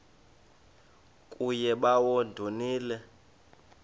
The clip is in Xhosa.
kuye bawo ndonile